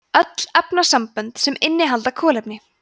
öll efnasambönd sem innihalda kolefni